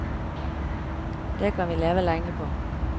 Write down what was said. Det kan vi leve lenge på.